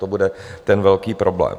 To bude ten velký problém.